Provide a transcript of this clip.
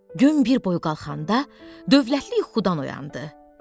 Gün bir boy qalxanda dövlətli yuxudan oyandı.